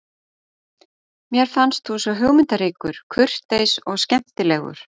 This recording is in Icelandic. Mér fannst þú svo hugmyndaríkur, kurteis og skemmtilegur.